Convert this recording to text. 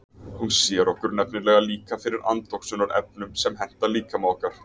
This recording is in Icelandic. Hún sér okkur nefnilega líka fyrir andoxunarefnum sem henta líkama okkar.